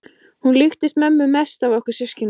Hún líkist mömmu mest af okkur systkinunum.